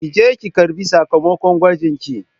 Ki je ki karɓi sakamakon gwajin ki